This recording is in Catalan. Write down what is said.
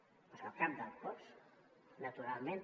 doncs el cap del cos naturalment